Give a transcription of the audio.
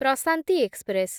Prashanti express